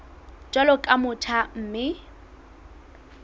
jwalo ka o motjha mme